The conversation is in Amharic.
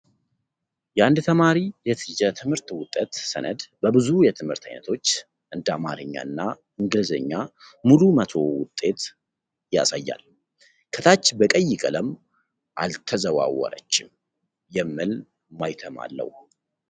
የአንድ ተማሪ የትምህርት ውጤት ሰነድ በብዙ የትምህርት ዓይነቶች (እንደ አማርኛ እና እንግሊዝኛ) ሙሉ መቶ (100) ውጤት አሳይቷል። ከታች በቀይ ቀለም "አልተዛዋወረችም" የሚል ማህተም አለው ።